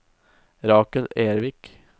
Rakel Ervik